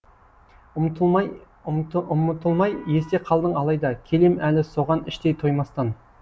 ұмытылмай есте қалдың алайда келем әлі соған іштей тоймастан